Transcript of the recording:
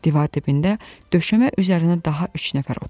Divar dibində döşəmə üzərinə daha üç nəfər oturmuşdu.